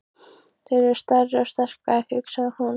Þeir eru stærri og sterkari, hugsaði hún.